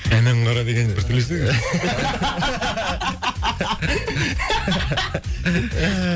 әнәң қара деген бір түрлі естіледі екен